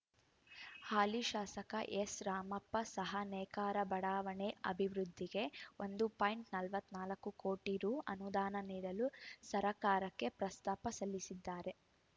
ಹಾಲಿ ಶಾಸಕ ಎಸ್‌ ರಾಮಪ್ಪ ಸಹ ನೇಕಾರ ಬಡಾವಣೆ ಅಭಿವೃದ್ಧಿಗೆ ಒಂದು ಪಾಯಿಂಟ್ ನಲವತ್ತ್ ನಾಲ್ಕು ಕೋಟಿ ರು ಅನುದಾನ ನೀಡಲು ಸರಕಾರಕ್ಕೆ ಪ್ರಸ್ತಾವ ಸಲ್ಲಿಸಿದ್ದಾರೆ